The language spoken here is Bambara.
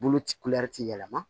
Bolo ci ti yɛlɛma